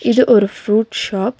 இது ஒரு fruit shop .